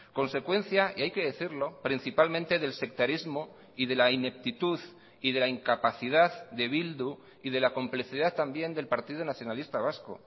consecuencia y hay que decirlo principalmente del sectarismo y de la ineptitud y de la incapacidad de bildu y de la complicidad también del partido nacionalista vasco